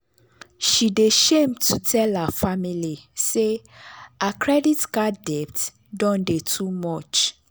she dey shame to tell her family say her credit card debt don dey too much.